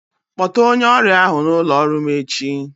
Kpọta onye ọrịa ahụ n'ụlọ ọrụ m echi.